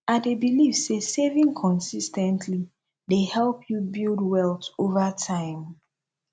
i dey believe say saving consis ten tly dey help you build wealth over time